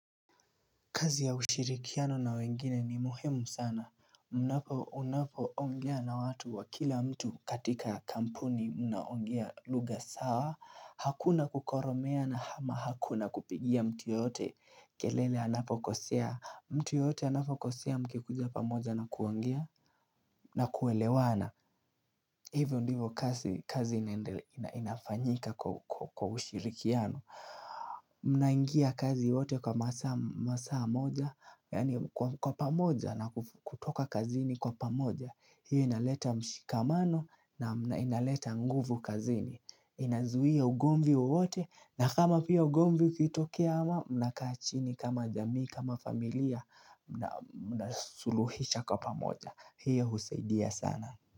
Kazi ya ushirikiano na wengine ni muhemu sana Unapo ongea na watu wa kila mtu katika kampuni unaongia luga sawa Hakuna kukoromea na hama hakuna kupigia mtu yote kelele anapokosea mtu yoyote anapokosea mkikuja pamoja na kuongea na kuelewana Hivyo ndivo kazi kazi inafanyika kwa ushirikiano Mnaingia kazi wote kwa masaa moja, yaani kwa pamoja na kutoka kazini kwa pamoja. Hiyo inaleta mshikamano na inaleta nguvu kazini. Inazuia ugomvi wote na kama pia ugomvi ukitokea ama mnakaa chini kama jamii kama familia nasuluhisha kwa pamoja. Hiyo husaidia sana.